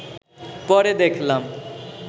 পরে দেখলাম